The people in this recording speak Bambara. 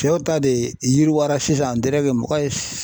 ta de yiriwara sisan an mɔgɔ